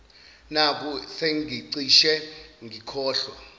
nakhu sengicishe ngikhohlwa